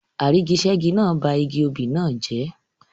Àrígiṣẹ́gi náà ba igi obì náà jẹ́.